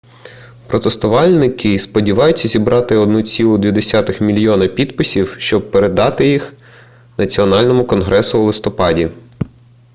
протестувальники сподіваються зібрати 1,2 мільйона підписів щоб представити їх національному конгресу у листопаді